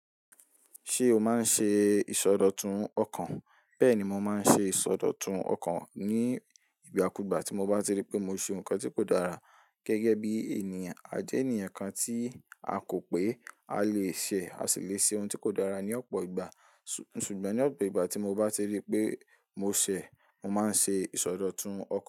Ṣé o máa ń ṣe ìsọdọ̀tun ọkàn? Bẹ́ẹ̀ni, mo máa ń ṣe ìsọdọ̀tun ọkàn ní ìgbà kú ìgbà tí mo bá ti rí pé mo ṣe nǹkan tí kò dára gẹ́gẹ́ bí ènìyàn. A jẹ́ ènìyàn kan tí a kò pé a lè ṣe, a sì le ṣe ohun tí kò dára ní ọ̀pọ̀ ìgbà. Su-- ṣùgbọ́n ní ọ̀pọ̀ ìgbà tí mo bá ti rí pé mo ṣẹ̀, mo máa ń ṣe ìsọdọ̀tun ọkàn.